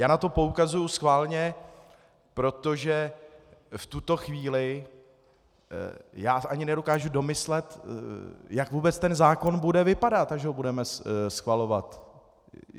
Já na to poukazuji schválně, protože v tuto chvíli já ani nedokážu domyslet, jak vůbec ten zákon bude vypadat, až ho budeme schvalovat.